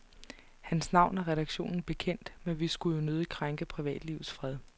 Hans navn er redaktionen bekendt, men vi skulle jo nødig krænke privatlivets fred.